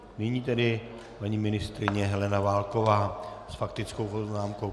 Nyní tedy paní ministryně Helena Válková s faktickou poznámkou.